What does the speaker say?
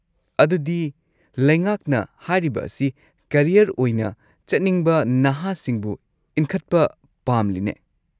ꯑꯗꯨꯗꯤ ꯂꯩꯉꯥꯛꯅ ꯍꯥꯏꯔꯤꯕ ꯑꯁꯤ ꯀꯔꯤꯌꯔ ꯑꯣꯏꯅ ꯆꯠꯅꯤꯡꯕ ꯅꯍꯥꯁꯤꯡꯕꯨ ꯏꯟꯈꯠꯄ ꯄꯥꯝꯂꯤꯅꯦ꯫